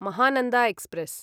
Mahananda express